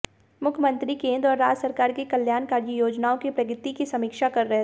मुख्यमंत्री केंद्र और राज्य सरकार की कल्याणकारी योजनाओं की प्रगति की समीक्षा कर रहे थे